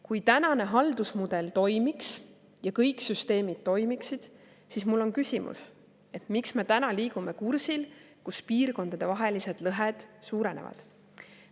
Kui tänane haldusmudel toimiks ja kõik süsteemid toimiksid, siis mul on küsimus, et miks me täna liigume kursil, kus piirkondadevahelised lõhed suurenevad.